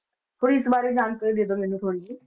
ਕੋਈ ਇਸ ਬਾਰੇ ਜਾਣਕਾਰੀ ਦੇ ਦਓ ਮੈਨੂੰ ਥੋੜ੍ਹੀ ਜਿਹੀ।